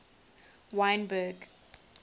wynberg